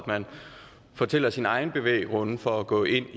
fortælle sine egne bevæggrunde for at gå ind